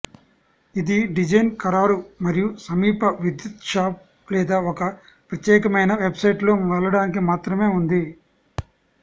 ఇది డిజైన్ ఖరారు మరియు సమీప విద్యుత్ షాప్ లేదా ఒక ప్రత్యేకమైన వెబ్సైట్ లో వెళ్ళడానికి మాత్రమే ఉంది